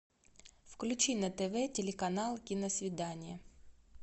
включи на тв телеканал киносвидание